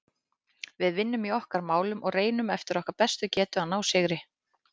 Við vinnum í okkar málum og reynum eftir okkar bestu getu að ná sigri.